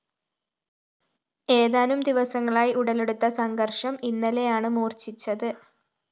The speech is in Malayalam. ഏതാനും ദിവസങ്ങളായി ഉടലെടുത്ത സംഘര്‍ഷം ഇന്നലെയാണ് മൂര്‍ച്ഛിച്ചത്